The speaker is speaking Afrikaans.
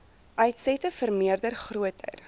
uitsette vermeerder groter